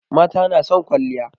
Mata na son kwalliya.